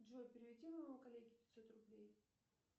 джой переведи моему коллеге пятьсот рублей